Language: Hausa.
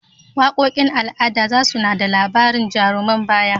Waƙoƙin al'ada za su na da labarin jaruman baya.